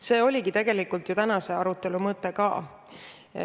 See oligi tegelikult tänase arutelu mõte ka.